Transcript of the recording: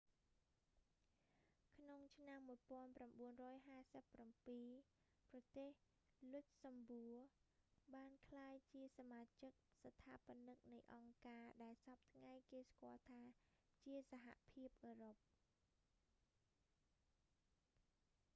ក្នុងឆ្នាំ 1957 ប្រទេស លុចសំបួ luxembourg បានក្លាយជាសមាជិកស្ថាបនិកនៃអង្គការដែលសព្វថ្ងៃគេស្គាល់ថា ជាសហភាពអឺរ៉ុប